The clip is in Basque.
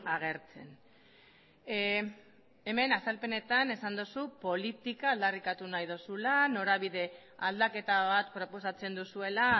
agertzen hemen azalpenetan esan duzu politika aldarrikatu nahi duzula norabide aldaketa bat proposatzen duzuela